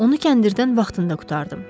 Onu kəndirdən vaxtında qurtardım.